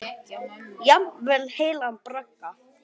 Jafnvel heilan bragga.